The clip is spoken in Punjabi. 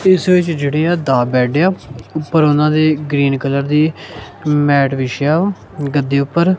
ਇਸ ਵਿੱਚ ਜਿਹੜੀਆਂ ਦਾ ਬੈਡ ਆ ਉਪਰ ਉਹਨਾਂ ਦੇ ਗ੍ਰੀਨ ਕਲਰ ਦੀ ਮੈਟ ਵਿਛਿਆ ਵਾ ਗੱਦੇ ਉੱਪਰ।